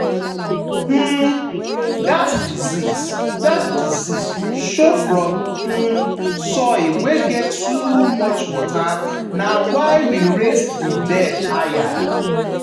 um that disease that disease show from um soil wey get too much water na why we raise the bed higher.